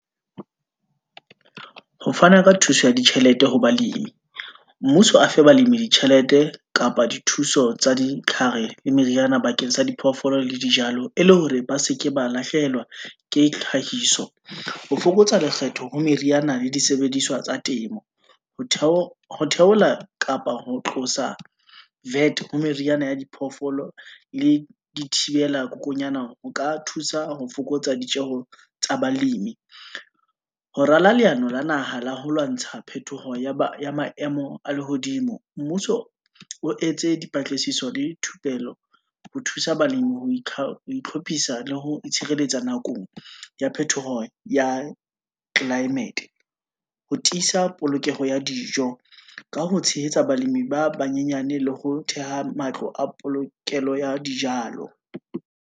Ho fana ka thuso ya ditjhelete ho balemi, mmuso a fe balemi ditjhelete kapa dithuso tsa ditlhare, le meriana bakeng sa diphoofolo le dijalo, e le hore ba seke ba lahlehelwa ke tlhahiso, ho fokotsa lekgetho ha meriana le disebediswa tsa temo, ho theola kapa ho tlosa VAT ha meriana ya diphoofolo le di thibela kokonyana, ho ka thusa ho fokotsa ditjeho tsa balemi, ho rala leano la naha la ho lwantsha phetoho ya maemo a lehodimo. Mmuso o etse dipatlisiso le thupelo ho thusa balemi itlhophisa le ho itshireletsa ya phetoho ya climate-e, ho tiisa polokeho ya dijo, ka ho tshehetsa balemi ba banyenyane, le ho theha matlo a polokelo ya dijalo.